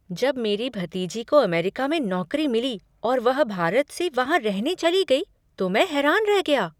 जब मेरी भतीजी को अमेरिका में नौकरी मिली और वह भारत से वहाँ रहने चली गई तो मैं हैरान रह गया।